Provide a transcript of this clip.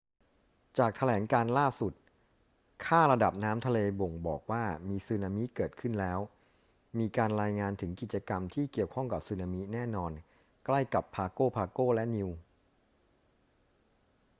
จากแถลงการณ์ล่าสุด ค่าระดับน้ำทะเลบ่งบอกว่ามีสึนามิเกิดขึ้นแล้ว มีการรายงานถึงกิจกรรมที่เกี่ยวข้องกับสึนามิแน่นอนใกล้กับ pago pago และ niue